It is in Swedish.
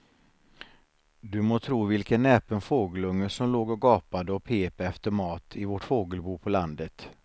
Du må tro vilken näpen fågelunge som låg och gapade och pep efter mat i vårt fågelbo på landet.